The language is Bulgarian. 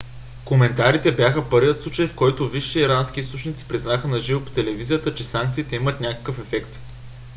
коментарите бяха първият случай в който висши ирански източници признаха на живо по телевизията че санкциите имат някакъв ефект